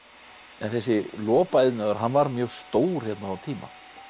en þessi lopaiðnaður hann var mjög stór hérna á tíma